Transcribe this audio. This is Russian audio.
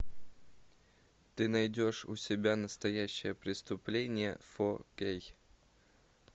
ты найдешь у себя настоящее преступление фор кей